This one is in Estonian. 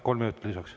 Kolm minutit lisaks.